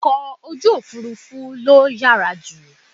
Ọkọ̀ ojú òfurufú ló yàrá jù.